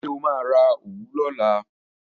Ṣé o máa ra òwú lọ́la?